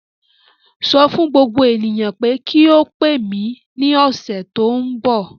Sọ fún gbogbo ènìyàn pé kí ó pè mí ní ọ̀sẹ̀ tó ń bọ̀.